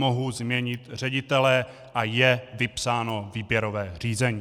Mohu změnit ředitele a je vypsáno výběrové řízení.